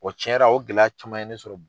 O cɛn yɛrɛ la o gɛlɛya caman ye ne sɔrɔ